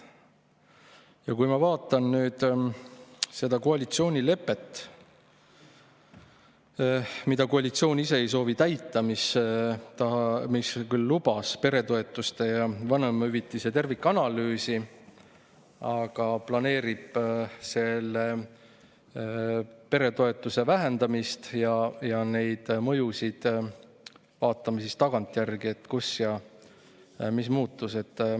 Ja kui ma vaatan nüüd seda koalitsioonilepet, siis see lubab peretoetuste ja vanemahüvitise tervikanalüüsi, aga koalitsioon ei soovi seda täita: planeerib peretoetuste vähendamist ja mõjusid vaatame siis tagantjärgi, et kus mis muutus.